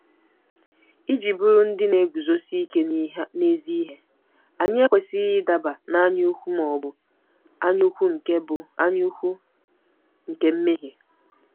Iji bụrụ ndị na-eguzosi ike n'ezi ihe, anyị ekwesịghị ịdaba n'anyaukwu ma ọ bụ anyaukwu nke bụ anyaukwu nke mmehie.